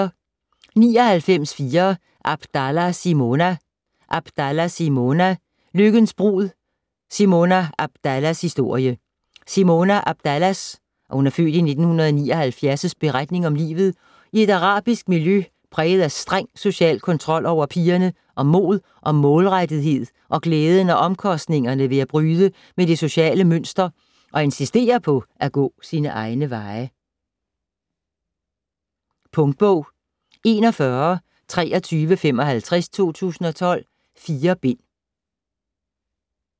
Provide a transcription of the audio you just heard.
99.4 Abdallah, Simona Abdallah, Simona: Lykkens brud: Simona Abdallahs historie Simona Abdallahs (f. 1979) beretning om livet i et arabisk miljø præget af streng social kontrol over pigerne, om mod og målrettethed og glæden og omkostningerne ved at bryde med det sociale mønster og insistere på at gå sine egne veje. Punktbog 412355 2012. 4 bind.